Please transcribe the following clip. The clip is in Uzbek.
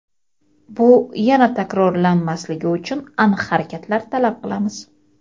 bu yana takrorlanmasligi uchun aniq harakatlar talab qilamiz.